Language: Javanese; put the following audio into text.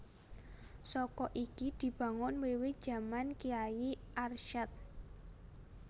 Saka iki dibangun wiwit jaman Kyai Arsyad